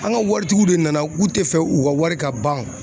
An ŋa waritigiw de nana k'u te fɛ u ka wari ka ban.